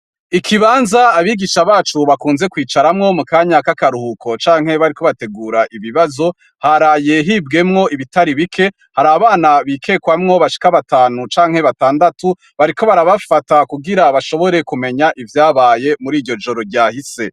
Ikibanza abigisha bacu bakunze kwicaramwo mu kanya kakaruhuko canke igihe bariko bategura ikibazo haraye hibwemwo ibitari bike abana bikekamwo bashika batanu canke batandatu bariko barafata kugira bashobore kumenya ivyabaye mu riryo joro ryahise.